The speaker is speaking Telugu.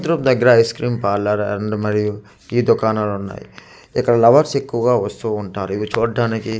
దగ్గర ఐస్ క్రీమ్ పార్లర్ అండ్ మరియు టీ దుకాణాలు ఉన్నాయి ఇక్కడ లవర్స్ ఎక్కువగా వస్తూ ఉంటారు ఇవి చూట్టానికి .]